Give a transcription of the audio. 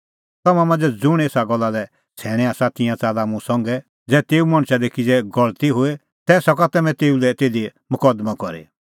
तम्हां मांझ़ै ज़ुंण एसा गल्ला लै सैणैं आसा तिंयां च़ाल्ला मुंह संघै ज़ै तेऊ मणछा दी किज़ै गलती होए तै सका तम्हैं तेऊ लै तिधी मकदमअ करी